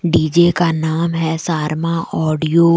DJ का नाम है शर्मा ऑडियो ।